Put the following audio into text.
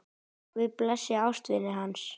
Guð blessi ástvini hans.